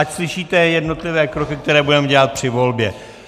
Ať slyšíte jednotlivé kroky, které budeme dělat při volbě.